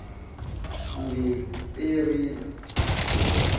ngeeperila